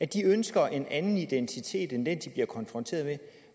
de ønsker en anden identitet end den de bliver konfronteret